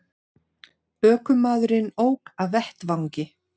Ökumaðurinn ók af vettvangi